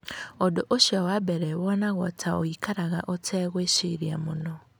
Ũndũ ũcio wa mbere wonagwo ta ũikaraga ũtegwĩciria mũno.